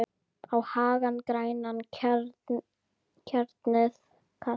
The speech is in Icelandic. á hagann grænan, hjarnið kalt